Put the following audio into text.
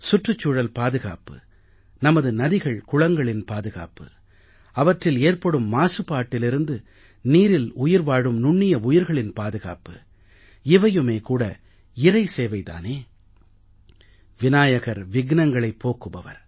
சுற்றுச்சூழல் பாதுகாப்பு நமது நதிகள்குளங்களின் பாதுகாப்பு அவற்றில் ஏற்படும் மாசுபாட்டிலிருந்து நீரில் உயிர் வாழும் நுண்ணிய உயிர்களின் பாதுகாப்பு இவையுமே கூட இறை சேவை தானே விநாயகர் சங்கடங்களை போக்குபவர்